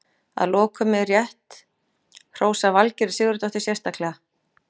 Að lokum er rétt hrósa Valgerði Sigurðardóttur sérstaklega.